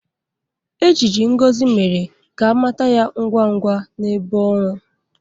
Ejiji Ngozi mere ka a mata ya ngwa ngwa n'ebe ọrụ.